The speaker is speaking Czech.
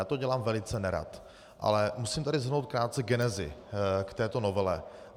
Já to dělám velice nerad, ale musím tady shrnout krátce genezi k této novele.